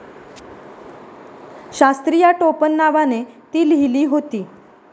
शास्त्री या टोपण नावाने ती लिहिली होती.